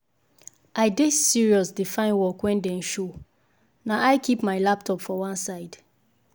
the visit no concern me but i get plenty side work wey dey line up wait for me.